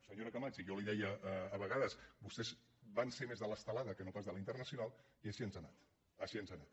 senyora camats i jo li ho deia a vegades vostès van ser més de l’estelada que no pas de la internacional i així ens ha anat així ens ha anat